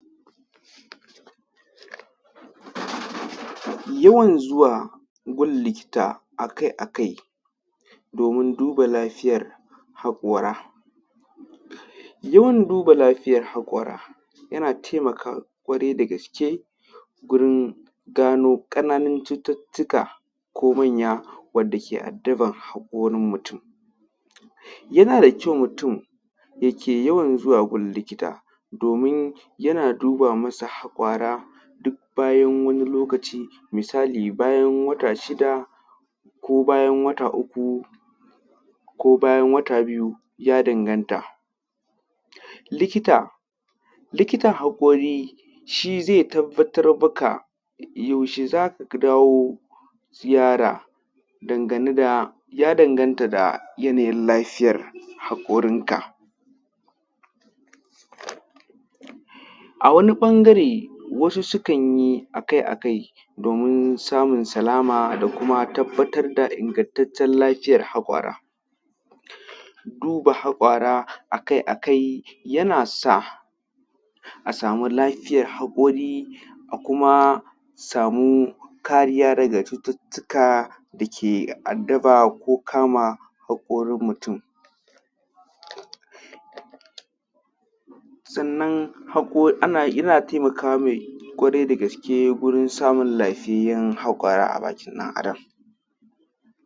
Yawan zuwa gun likita a kai a kai, domin duba lafiyar haƙara, yawan duba lafija haƙora yana taimakawa ƙwarai da gaske gurin gano ƙananan cututtuka ko manya wanda yake addaban haƙorin mutum. Yana da kyau mutum yake yawan zuwa gun likita domin yana duba masa haƙora bayan wani lokaci. Misali misali bayan wata shida ko bayan wata uku, ko bayan wata biyu ya danganta. Likita likitan haƙori shi zai tabbatar maka yaushe za ka dawo ziyara dangane da, ya danganta da yanayin lafiyar haƙorinka. A wani ɓangare wasu sukan yi a kai a kai, domin samun salama da kuma tabbatar da ingantaccen lafiyar haƙwara. Duba haƙwara a kai a kai yana sa a sami lafiyar haƙori a kuma samu kariya daga cututtuka dake addaba ko kama haƙorin mutum. Sannan haƙo ana yana taimaka mai ƙwarai da gaske wurin samun lafiyayyan haƙwara a bakin ɗan adam.